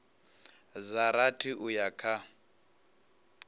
dza rathi uya kha dza